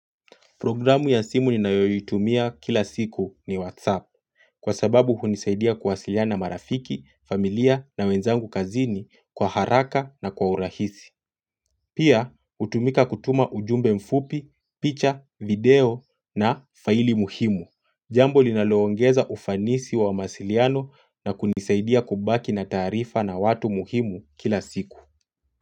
Programu ya simu ninayoitumia kila siku ni WhatsApp kwa sababu hunisaidia kuwasiliana na marafiki, familia na wenzangu kazini kwa haraka na kwa urahisi. Pia hutumika kutuma ujumbe mfupi, picha, video na faili muhimu. Jambo linaloongeza ufanisi wa mawasiliano na kunisaidia kubaki na taarifa na watu muhimu kila siku.